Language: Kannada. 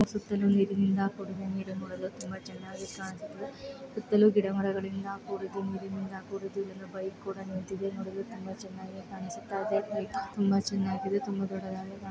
ಸುತ್ತಲೇ ನೀರಿನಿಂದ ಕೊಡಿಗೆ ನೀರು ನೋಡಲು ತುಂಬಾ ಚೆನ್ನಾಗಿ ಕಾಣಸ್ತಿದೆ. ಸುತ್ತಲೂ ಗಿಡ ಮರಗಳಿಂದ ಕೂಡಿ ತುಂಬಿ ನೀರಿನಿಂದ ಬೈಕ್ ಕೂಡ ನಿಂತಿದೆ ನೋಡಲು ತುಂಬಾ ಚನ್ನಾಗಿ ಕಾನಿಸುತ್ತಯಿದೆ. ತುಂಬಾ ಚೆನ್ನಾಗಿದೆ ತುಂಬಾ ದೊಡ್ಡದಾಗಿ --